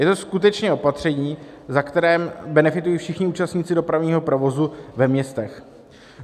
Je to skutečně opatření, ve kterém benefitují všichni účastníci dopravního provozu ve městech.